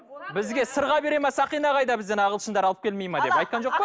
бізге сырға береді ме сақина қайда бізден ағылшындар алып келмейді ме деп айтқан жоқ па